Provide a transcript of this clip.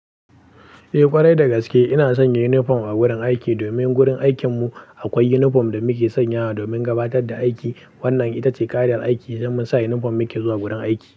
Eh ƙwarai dagaske ina sanya inifom a gurin aiki domin gurin aikin mu akwai inifom da muke sanyawa domin gabatar da aiki. Wannan itace ƙa'idar aiki don musa inifom muke zuwa gurin aiki.